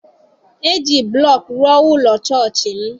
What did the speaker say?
E ji blọk rụọ ụlọ chọọchị m.